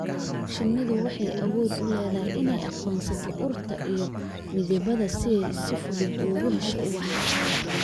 Shinnidu waxay awood u leedahay inay aqoonsato urta iyo midabada, si ay si fudud ugu hesho ubax.